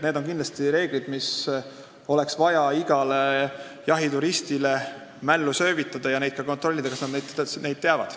Need on reeglid, mis oleks vaja igale jahituristile mällu söövitada ja oleks vaja ka kontrollida, kas nad neid teavad.